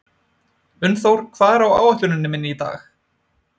Unnþór, hvað er á áætluninni minni í dag?